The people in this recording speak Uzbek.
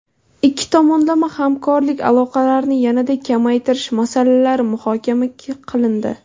Ikki tomonlama hamkorlik aloqalarini yanada kengaytirish masalalari muhokama qilindi.